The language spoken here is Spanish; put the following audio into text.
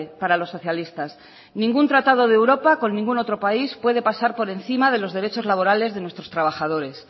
para los socialistas ningún tratado de europa con ningún otro país puede pasar por encima de los derechos laborales de nuestros trabajadores